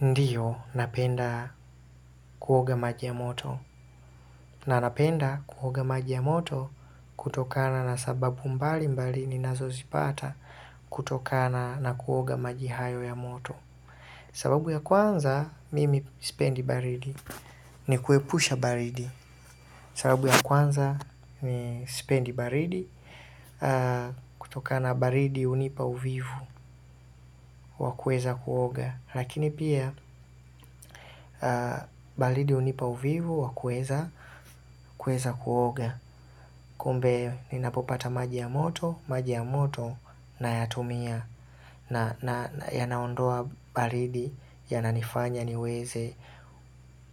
Ndiyo napenda kuoga maji ya moto na napenda kuoga maji ya moto kutokana na sababu mbalimbali ninazozipata kutokana na kuoga maji hayo ya moto. Sababu ya kwanza mimi sipendi baridi ni kuepusha baridi sababu ya kwanza ni sipendi baridi, kutoka na baridi hunipa uvivu wa kuweza kuoga lakini pia baridi hunipa uvivu wa kuweza kuoga. Kumbe ninapopata maji ya moto, maji ya moto nayatumia. Na yanaondoa baridi yananifanya niweze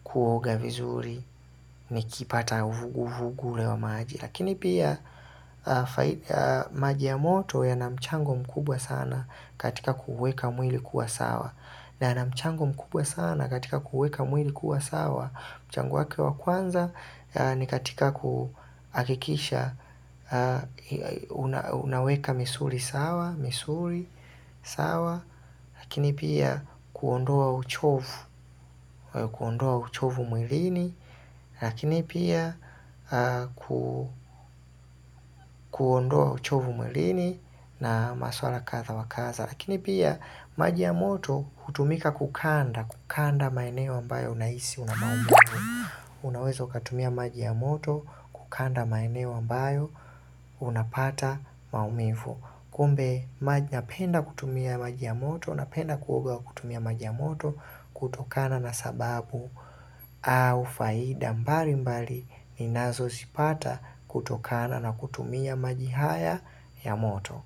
kuoga vizuri nikipata vugu la maji. Lakini pia maji ya moto yana mchango mkubwa sana katika kuuweka mwili kuwa sawa. Na yana mchango mkubwa sana katika kuuweka mwili kuwa sawa mchango wake wa kwanza ni katika kuakikisha unaweka misuli sawa, misuli sawa, lakini pia kuondoa uchovu, kuondoa uchovu mwilini, lakini pia kuondoa uchovu mwilini na maswala kadha wa kadha. Lakini pia, maji ya moto kutumika kukanda, kukanda maeneo ambayo unahisi una maumivu. Unaweza ukatumia maji ya moto kukanda maeneo ambayo unapata maumivu. Kumbe, napenda kutumia maji ya moto, napenda kuoga kutumia maji ya moto kutokana na sababu au faida. Mbalimbali, ninazozipata kutokana na kutumia maji haya ya moto.